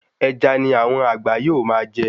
Ẹja ni àwọn àgbà yóò máa jẹ